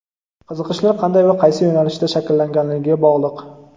qiziqishlar qanday va qaysi yo‘nalishda shakllanganligiga bog‘liq.